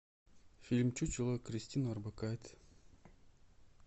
фильм чучело кристина орбакайте